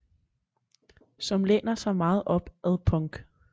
Som læner sig meget op ad punk